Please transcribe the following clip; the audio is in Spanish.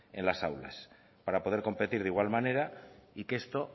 en las aulas para poder competir de igual manera y que esto